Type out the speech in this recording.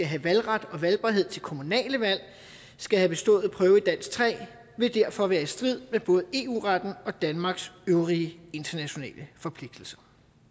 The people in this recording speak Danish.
have valgret og valgbarhed til kommunale valg skal have bestået prøve i dansk tre vil derfor være i strid med både eu retten og danmarks øvrige internationale forpligtelser